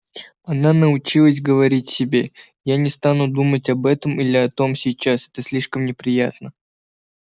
она научилась говорить себе я не стану думать об этом или о том сейчас это слишком неприятно